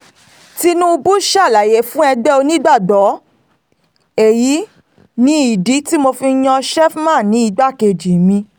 tinubu ṣàlàyé fẹ́gbẹ́ onígbàgbọ́ èyí ni ìdí tí mo fi yan sheffman ní igbákejì mi